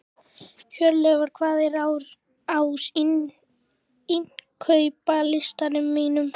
Hjörleifur, hvað er á innkaupalistanum mínum?